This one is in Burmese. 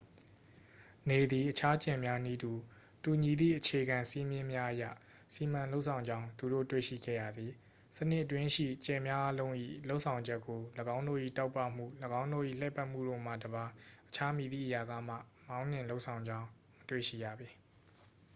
နေသည် အခြားကြယ်များနည်းတူ တူညီသည့် အခြေခံစည်းမျဉ်းများအရ စီမံလုပ်ဆောင်ကြောင်း သူတို့ တွေ့ရှိခဲ့ရသည် စနစ်အတွင်းရှိ ကြယ်များအားလုံး၏ လုပ်ဆောင်ချက်ကို ၎င်းတို့၏ တောက်ပမှု ၎င်းတို့၏ လှည့်ပတ်မှုတို့မှတစ်ပါး အခြားမည်သည့်အရာကမှ မောင်းနှင်လုပ်ဆောင်ကြောင်း မတွေ့ရှိရပေ